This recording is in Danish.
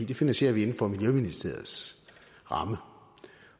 det finansierer vi inden for miljøministeriets ramme